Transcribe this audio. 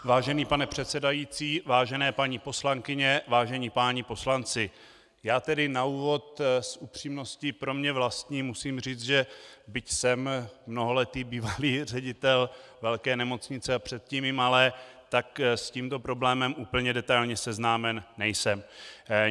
Vážený pane předsedající, vážené paní poslankyně, vážení páni poslanci, já tedy na úvod s upřímností pro mě vlastní musím říct, že byť jsem mnoholetý bývalý ředitel velké nemocnice a předtím i malé, tak s tímto problémem úplně detailně seznámen nejsem.